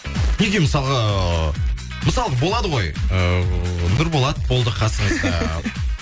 неге мысалға мысалы болады ғой ыыы нұрболат болды қасыңызда